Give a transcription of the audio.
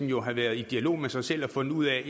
jo have været i dialog med sig selv og fundet ud af at